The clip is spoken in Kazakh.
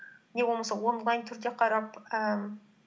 не болмаса онлайн түрде қарап ііі